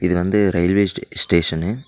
இது வந்து ரயில்வே ஸ்டே ஸ்டேஷன்னு .